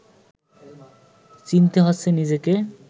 চিনতে হচ্ছে নিজেকে